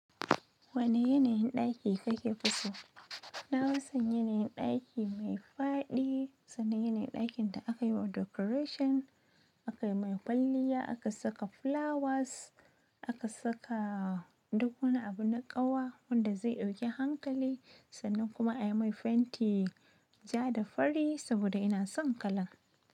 Wane yanayin ɗaki kake fi so? Na fi san yanayin ɗaki mai fadi, sannan yanayin ɗakin da aka yi wa decoration, aka yi mai kwalliya, aka saka flowers, aka saka duk wani abu na ƙawa wanda zai ɗauki hankali, sannan kuma a yi mai fenti ja da fari saboda ina son kalan.